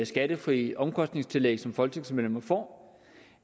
skattefrie omkostningstillæg som folketingsmedlemmer får